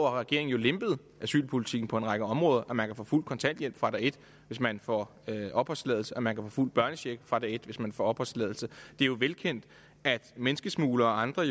har regeringen jo lempet asylpolitikken på en række områder man kan få fuld kontanthjælp fra dag et hvis man får opholdstilladelse man kan få fuld børnecheck fra dag et hvis man får opholdstilladelse det er jo velkendt at menneskesmuglere og andre